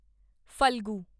Phalgu